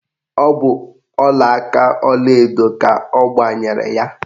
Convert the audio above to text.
Ọ bụ ọlaaka ọlaedo ka ọ gbanyere ya.